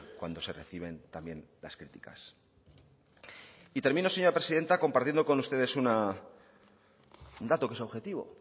cuando se reciben también las críticas y termino señora presidenta compartiendo con ustedes un dato que es objetivo